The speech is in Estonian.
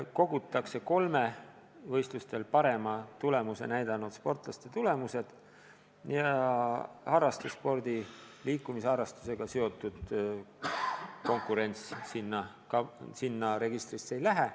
Kogutakse kolme võistlustel parema tulemuse näidanud sportlase tulemused, harrastusspordi, liikumisharrastusega seotud konkurents sinna registrisse ei lähe.